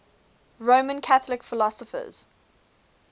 roman catholic philosophers